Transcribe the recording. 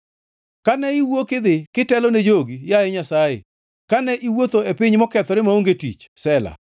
Kane iwuok idhi kitelo ne jogi, yaye Nyasaye, kane iwuotho e piny mokethore maonge tich, Sela